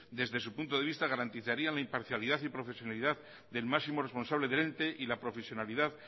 desde su punto de vista garantizarían la imparcialidad y profesionalidad del máximo responsable del ente y la profesionalidad